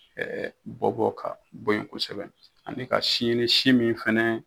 bɔbɔ ka bɔ ɲɔn kosɛbɛ ani ka si ɲini si min fɛnɛ